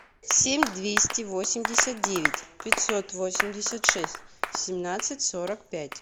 семь двести восемьдесят девять пятьсот восемьдесят шесть семнадцать сорок пять